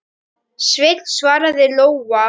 Sveinn, svaraði Lóa.